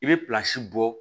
I bɛ bɔ